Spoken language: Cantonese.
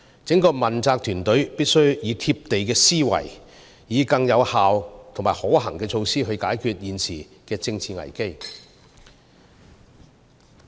整個問責團隊必須以貼地的思維，以有效及可行的措施來解決現時的政治危機。